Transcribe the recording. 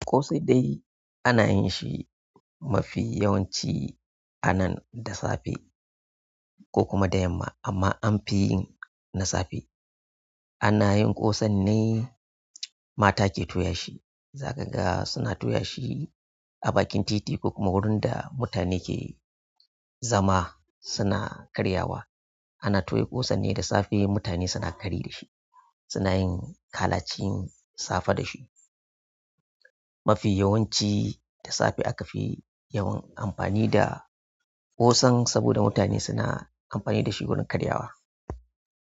Ƙosai dai ana yin shi mafi yawanci a nan da safe ko kuma da yamma amma an fi yin na safe. Ana yin ƙosan ne, mata ke toya shi za ka ga suna toya shi a bakin titi ko kuma wurin da mutane ke zama suna karyawa. Ana toya ƙosan ne da safe mutane suna kari da shi, suna yin kalacin safe da shi. Mafi yawanci da safe aka fi yawan amfani da ƙosan saboda mutane suna amfani da shi wurin karyawa.